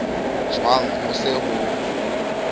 jwang ha ho se ho